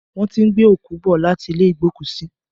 Wọ́n ti ń gbé òkú bọ̀ láti ilé igbokusi